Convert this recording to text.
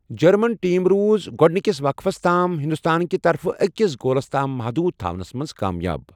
German team روٗز گۄڈنِکِس وَقفَس تام ہِنٛدُستانکہِ طرفہٕ أکِس گولَس تام مٕحدوٗد تھونس منز كامیاب ۔